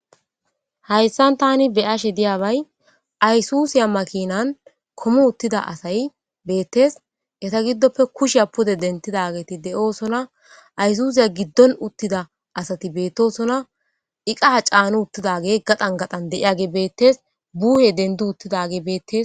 hayssan tani be ashe diyabay aysusiya makinan komu uttida asay beettes eta giddoppe kusheya pode dentidageeti deoosona aysusiya giddon uttida asati beettosona iqaha caanu uttidage gaxan gaxan deiyage bettes buuhe dendu uttidage beettes